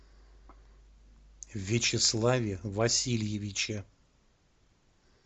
вячеславе васильевиче